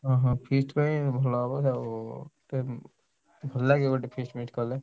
ହଁ ହଁ feast ଭଲ ହବ ଆଉ ଭଲ ଲାଗିବ ଗୋଟେ feast ମିଷ୍ଟ କଲେ।